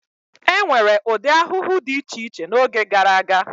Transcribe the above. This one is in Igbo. E nwere ụdị ahụhụ dị iche iche n'oge gara aga.